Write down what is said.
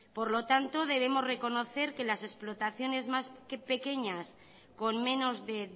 por lo tanto debemos reconocer que las explotaciones más pequeñas con menos de